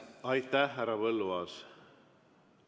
Aitäh, härra Põlluaas!